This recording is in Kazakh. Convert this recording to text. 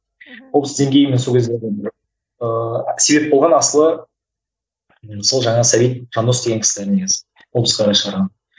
мхм облыс деңгейімен сол кездерде бір ыыы себеп болған асылы сол жаңағы сәбит жандос деген кісілер негізі облысқа қарай шығарған